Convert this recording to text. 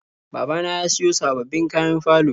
Babana ya siyo sababbin kayan falo.